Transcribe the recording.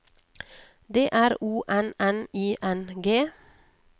D R O N N I N G